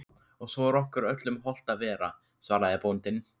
Og svo er okkur öllum hollt að vera, svaraði bóndinn.